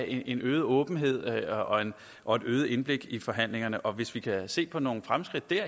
en øget åbenhed og et øget indblik i forhandlingerne og hvis vi kan se på nogle fremskridt der